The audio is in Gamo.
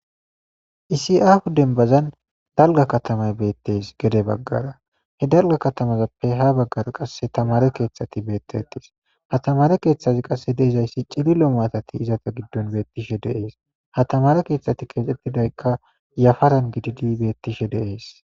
Issi aho denbazan dalga katama de'es gede bagara daro katamazape ha bagara tamare kethata betese ha tamare kethazika qase de'zasi cililo matazi izape gidon betishn ha tamare ktetay yafaran gidishin betes